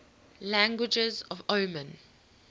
languages of oman